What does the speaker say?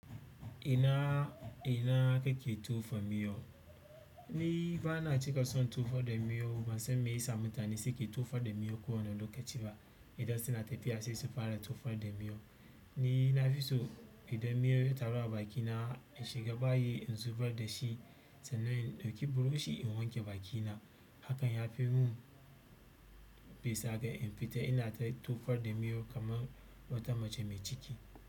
Ina kenan kake tofa miyau. Ni bana cika son tofar da miyo, ban san me yasa mutane suke tofar da miyo ko wane lokaci ba. Idan suna tafiya sai su fara tofar da miyo. Ni nafiso idan miyo ya taru a bakina, in shiga bayi in zubar da shi, sannan in ɗauki buroshi in wanke bakina. Hakan yafi mun bisa ga in fita ina ta tofar da miyo kaman wata mace mai ciki.